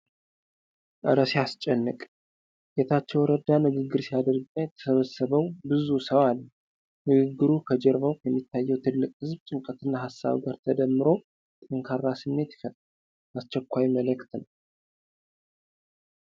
እረ ሲያስጨንቅ! ጌታቸው ረዳ ንግግር ሲያደርግና የተሰበሰበው ብዙ ሰው አለ። ንግግሩ ከጀርባው ከሚታየው ትልቅ ህዝብ ጭንቀትና ሀሳብ ጋር ተደምሮ ጠንካራ ስሜት ይፈጥራል። አስቸኳይ መልዕክት ነው።